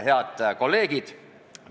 Head kolleegid!